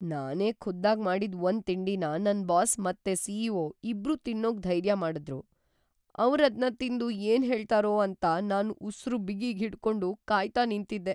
ನಾನೇ ಖುದ್ದಾಗ್ ಮಾಡಿದ್‌ ಒಂದ್‌ ತಿಂಡಿನ ನನ್ ಬಾಸ್ ಮತ್ತೆ ಸಿ.ಇ.ಒ. ಇಬ್ರೂ ತಿನ್ನೋಕ್ ಧೈರ್ಯ ಮಾಡಿದ್ರು, ಅವ್ರದ್ನ ತಿಂದು ಏನ್‌ ಹೇಳ್ತಾರೋ ಅಂತ ನಾನ್ ಉಸ್ರು ಬಿಗಿ ಹಿಡ್ಕೊಂಡ್‌ ಕಾಯ್ತಾ ನಿಂತಿದ್ದೆ.